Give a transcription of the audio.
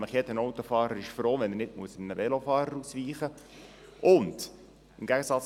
Jeder Autofahrer ist froh, wenn er nicht einem Velofahrer ausweichen muss.